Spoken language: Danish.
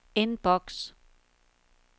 inbox